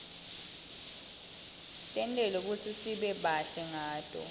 tentelwe kutsisibe bahle ngato